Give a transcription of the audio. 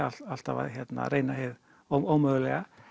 alltaf að reyna hið ómögulega